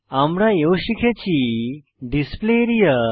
আমরা এও শিখেছি ডিসপ্লে এরিয়া